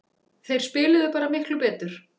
Þeir spiluðu bara miklu betur